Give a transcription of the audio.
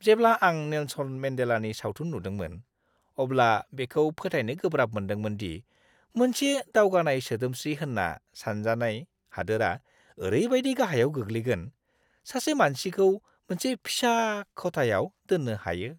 जेब्ला आं नेलसन मेन्डेलानि सावथुन नुदोंमोन, अब्ला बेखौ फोथायनो गोब्राब मोनदोंमोन दि मोनसे दावगानाय सोदोमस्रि होनना सानजानाय हादोरा ओरैबायदि गाहायाव गोग्लैगोन, सासे मानसिखौ मोनसे फिसा खथायाव दोननो हायो!